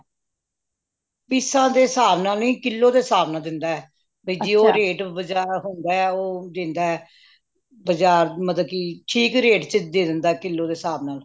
ਪੀਸਾਂ ਦੇ ਹਿਸਾਬ ਨਾਲ ਨਹੀਂ ਕਿਲੋ ਦੇ ਹਿਸਾਬ ਨਾਲ ਦਿੰਦਾ ਬਇ ਜੋ rate ਬਾਜ਼ਾਰ ਹੁੰਦਾ ਉਹ ਦੇਂਦਾ ਬਾਜ਼ਾਰ ਮਤਲਬ ਕਿ ਠੀਕ rate ਚ ਦੇ ਦੇਂਦਾ ਕਿਲੋ ਦੇ ਹਿਸਾਬ ਨਾਲ